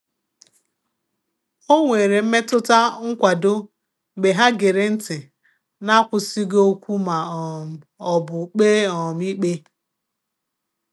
O nwere mmetụta nkwado mgbe ha gere ntị n'akwụsịghị okwu ma um ọ bụ kpee um ikpe.